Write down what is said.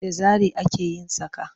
Da zare ake yin saƙa.